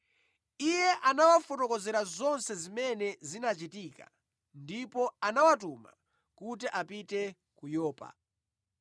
Iye anawafotokozera zonse zimene zinachitika ndipo anawatuma kuti apite ku Yopa.